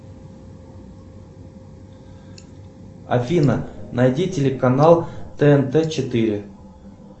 афина найди телеканал тнт четыре